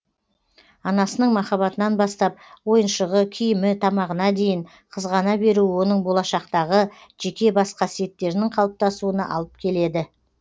анасының махаббатынан бастап ойыншығы киімі тамағына дейін қызғана беруі оның болашақтағы жеке бас қасиеттерінің қалыптасуына алып келеді